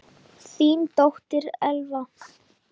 Þín dóttir, Elfa.